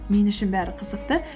мен үшін бәрі қызықты